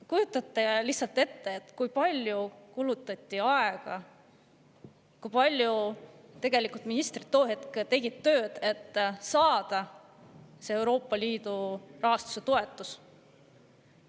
Kujutage ette, kui palju kulutati aega, kui palju ministrid tööd tegid, et saada see Euroopa Liidu rahastus, toetus.